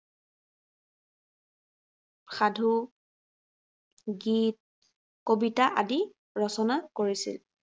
সাধু গীত, কবিতা আদি ৰচনা কৰিছিল।